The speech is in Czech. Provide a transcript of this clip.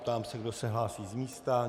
Ptám se, kdo se hlásí z místa.